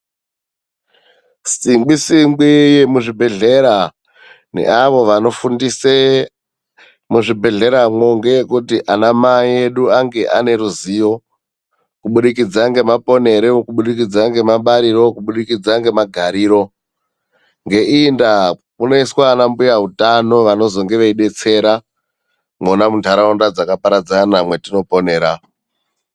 Singwi singwi muzvibhedhlera neavo vanofundise muzvibhedhleravo ngeyekuti ana mai edu ave aneruzivo kubudikidza ngemaponero, kubudikidza nemabariro, kubudikidza nemagariro. Ngeiyi ndaa, kunoiswa ana mbuya utano vanozenge veidetsera mwona mundaraunda dzakaparadzana mwetoponera.